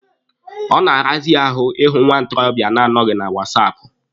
Ọ na-arazi ahụ ịhụ nwa ntorobịa na-anọghị na wasaapụ.